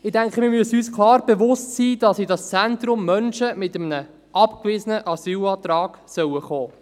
Ich denke, wir müssen uns klar bewusst sein, dass in dieses Zentrum Menschen mit einem abgewiesenen Asylantrag kommen sollen.